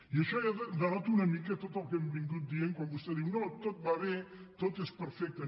i això ja denota una mica tot el que hem anat dient quan vostè diu no tot va bé tot és perfecte